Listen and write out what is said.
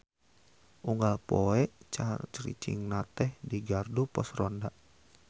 Unggal poe caricingna teh di gardu pos ronda.